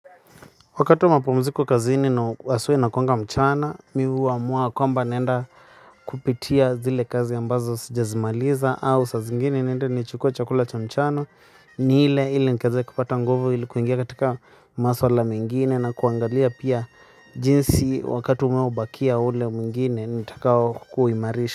Wakati mapumziko kazini aswa inakuanga mchana miuwa mua kwamba nenda kupitia zile kazi ambazo sijazimaliza au sa zingine nende nichukue chakula cha mchana ni ile ile nkazi kupata nguvu ilikuingia katika masuala mengine na kuangalia pia jinsi wakati umeo bakia ule mingine nitakao kuimarisha.